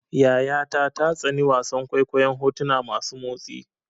Yayata ta tsani wasan kwaikwayon hotuna masu motsi.